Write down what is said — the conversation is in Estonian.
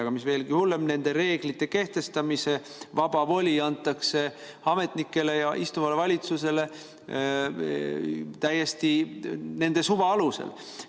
Aga mis veelgi hullem: nende reeglite kehtestamise vaba voli antakse ametnikele ja istuvale valitsusele täiesti nende suva alusel.